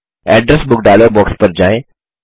address book dialog box पर जाएँ